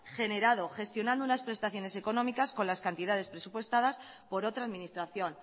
generado gestionando unas prestaciones económicas con las cantidades presupuestadas por otra administración